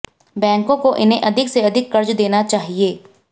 बैंकों को इन्हें अधिक से अधिक कर्ज देना चाहिए